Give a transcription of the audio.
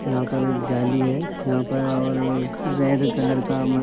यहाँ पर एक जाली है यहाँ पर और रेड कलर का हमें --